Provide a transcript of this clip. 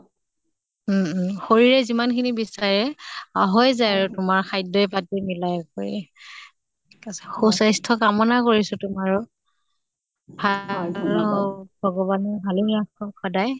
উম উম শৰীৰে যিমান খিনি বিচাৰে হয় যায় আৰু তোমাৰ খাদ্য়ই পাতি মিলাই কৰি। সুস্বাস্থ্য় কামনা কৰিছো তোমাৰো, ন্হাল হৌক, ভগৱানে ভালে ৰাখক সদায়